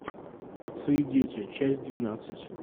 отцы и дети часть двенадцать